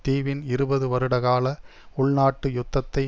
தீவின் இருபது வருடகால உள்நாட்டு யுத்தத்தை